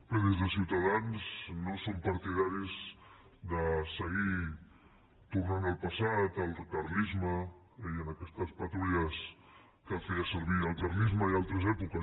bé des de ciutadans no som partidaris de seguir tornant al passat al carlisme a aquestes patrulles que feia servir el carlisme i altres èpoques